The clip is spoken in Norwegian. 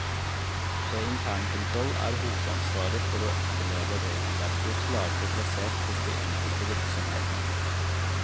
Ved internkontroll er hovedansvaret for å etterleve regelverket klarere plassert hos de enkelte virksomhetene.